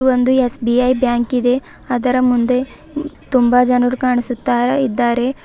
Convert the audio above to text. ಒಂದು S B I bank ಇದೆ ಅದರ ಮುಂದೆ ತುಂಬಾ ಜನರು ಕಾಣುಸ್ತಾಯಿದ್ದಾರೆ.